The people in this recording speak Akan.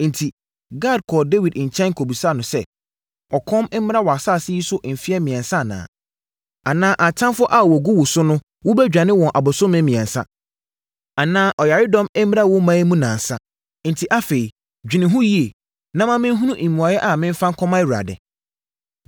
Enti, Gad kɔɔ Dawid nkyɛn kɔbisaa no sɛ, “Ɔkɔm mmra wʼasase yi so mfeɛ mmiɛnsa anaa? Anaa, atamfoɔ a wɔgu wo so no wobɛdwane wɔn abosome mmiɛnsa? Anaa, ɔyaredɔm mmra wo ɔman yi mu nnansa? Enti afei, dwene ho yie, na ma menhunu mmuaeɛ a memfa nkɔma Awurade.”